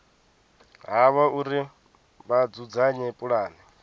havho uri vha dzudzanye pulane